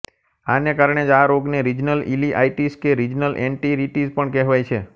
આને કારણે જ આ રોગને રીજનલ ઇલીઆઇટીસ કે રીજનલ એન્ટેરીટીઝ પણ કહેવાય છે